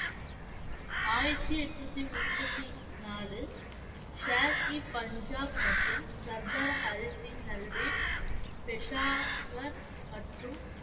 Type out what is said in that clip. ஆயிரத்தி எட்நூத்தி முப்பத்தி நாலு ஷேர் இ பஞ்சாப் மற்றும் சர்தார் ஹரி சிங் நல்வா பெஷாவர் மற்றும்